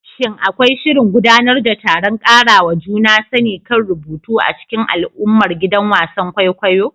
Shin akwai shirin gudanar da taron ƙarawa juna sani kan rubutu a cikin al'ummar gidan wasan kwaikwayo?